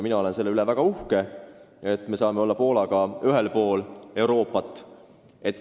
Mina olen selle üle väga uhke, et me saame olla Poolaga ühes regioonis.